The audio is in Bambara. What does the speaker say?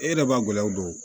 E yɛrɛ b'a gɛlɛyaw don